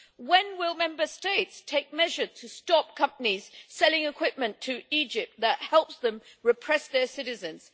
When will Member States take measures to stop companies selling equipment to Egypt that helps them repress their citizens.